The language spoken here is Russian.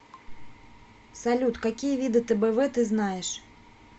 салют какие виды тбв ты знаешь